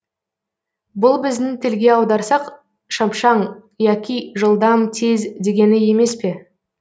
бұл біздің тілге аударсақ шапшаң яки жылдам тез дегені емес пе